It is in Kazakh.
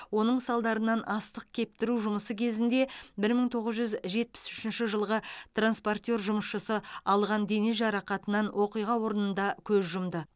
осының салдарынан астық кептіру жұмысы кезінде бір мың тоғыз жүз жетпіс үшінші жылғы транспортер жұмысшысы алған дене жарақатынан оқиға орнында көз жұмды